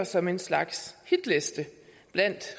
som en slags hitliste blandt